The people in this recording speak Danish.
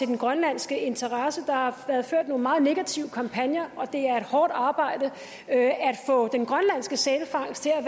den grønlandske interesse der har været ført nogle meget negative kampagner og det er et hårdt arbejde at få den grønlandske sælfangst til at